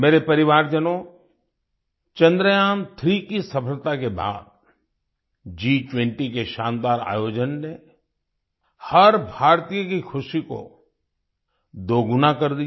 मेरे परिवारजनों चंद्रयान3 की सफलता के बाद G20 के शानदार आयोजन ने हर भारतीय की खुशी को दोगुना कर दिया